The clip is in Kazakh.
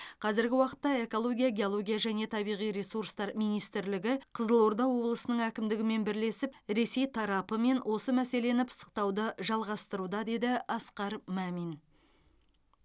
қазіргі уақытта экология геология және табиғи ресурстар министрлігі қызылорда облысының әкімдігімен бірлесіп ресей тарапымен осы мәселені пысықтауды жалғастыруда деді асқар мамин